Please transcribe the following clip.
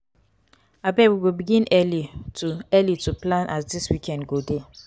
abeg we go begin early to early to plan as di weekend go dey.